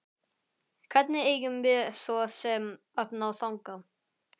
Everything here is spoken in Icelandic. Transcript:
Hvernig eigum við svo sem að ná þangað?